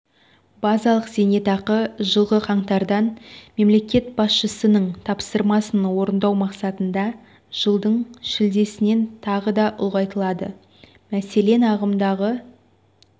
базалық зейнетақы жылғы қаңтардан мемлекет басшысының тапсырмасын орындау мақсатында жылдың шілдесінен тағы да ұлғайтылады мәселен ағымдағы